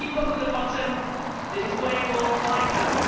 If we put them at the bottom, the displays will all hide them.